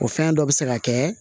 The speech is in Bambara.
O fɛn dɔ bi se ka kɛ